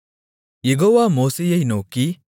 யெகோவா மோசேயை நோக்கி